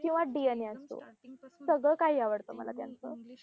किंवा DNA असो. सगळं काही आवडतं मला त्यांचं.